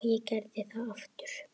Og ég gerði það aftur.